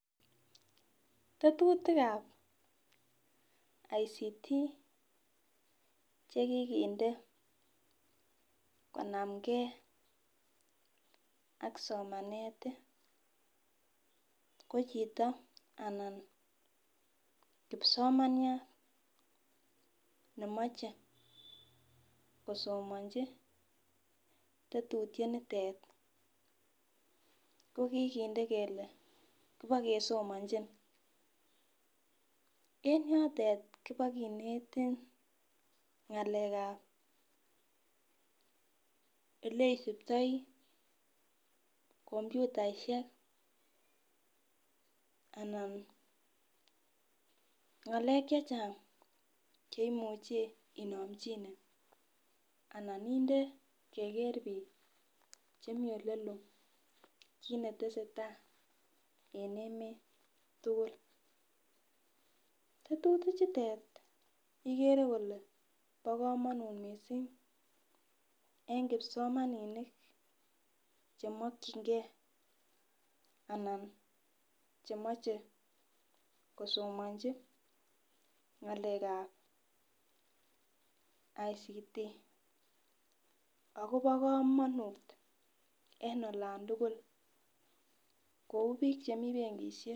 Tetutik ap ICT chekikinde konamge ak somanet ko chito anan kipsomaniat nemochei kosomonji tetutiet nitet kokikinde kele kipikesomonji en yotet pokinetin ng'alek ap oleisiptoi komputaishek anan ng'alek che chang' cheimuchei inomchine anan inde keker biik chemii olelo kiit netesetai en emet tukul tetutik chutet ikere kole bo komonut mising eng kipsomaninik chemokchingei anan chemochei kosomonji ng'alek ap ICT akobo komonut en olon tukul kou biik chemi benkishek.